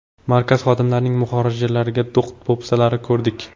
Markaz xodimlarining muhojirlarga do‘q-po‘pisalarini ko‘rdik.